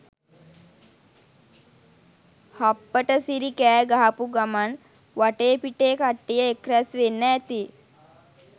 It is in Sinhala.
හප්පට සිරි කෑ ගහපු ගමන් වටේ පිටේ කට්ටිය එක් ‍රැස් වෙන්න ඇති